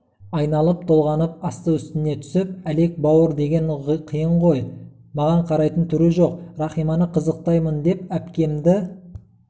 айналып-толғанып асты-үстіне түсіп әлек бауыр деген қиын ғой маған қарайтын түрі жоқ рахиманы қызықтаймын деп әпкемді